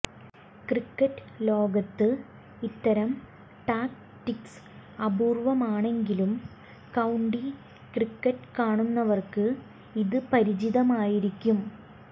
cricket ലോകത്ത് ഇത്തരം tactics അപൂര്വമാണെങ്കിലും കൌണ്ടി ക്രിക്കറ്റ് കാണുന്നവര്ക്ക് ഇത് പരിചിതമായിരിക്കും